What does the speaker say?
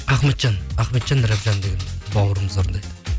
ахметжан ахметжан рабжан деген бауырымыз орындайды